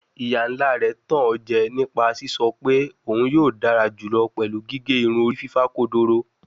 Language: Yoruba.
Iya-nla rẹ tan o jẹ nipa sisọ pe oun yoo dara julọ pẹlu gige irun ori fifa kodoro